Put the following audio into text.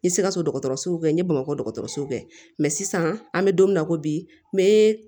N sikaso dɔgɔtɔrɔsow kɛ n ye bamakɔ dɔgɔtɔrɔso yen sisan an be don min na i ko bi